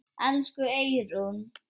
Elsku Eyrún.